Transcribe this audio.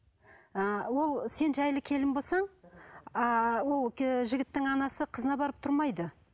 ыыы ол сен жайлы келін болсаң ааа ол жігіттің анасы қызына барып тұрмайды